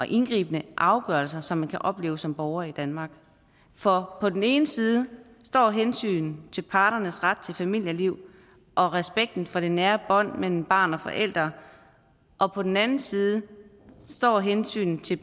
indgribende afgørelse som man kan opleve som borger i danmark for på den ene side står hensynet til parternes ret til familieliv og respekten for det nære bånd mellem barn og forældre og på den anden side står hensynet til